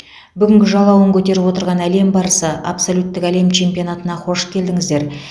бүгінгі жалауын көтеріп отырған әлем барысы абсолюттік әлем чемпионатына қош келдіңіздер